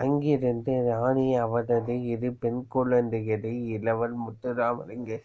அங்கிருந்த ராணி அவரது இரு பெண்குழந்தைகள் இளவல் முத்துராமலிங்க